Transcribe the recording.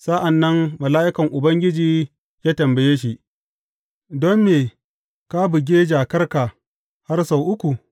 Sa’an nan mala’ikan Ubangiji ya tambaye shi, Don me ka buge jakarka har sau uku?